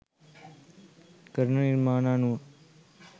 කරන නිර්මාණ අනුව.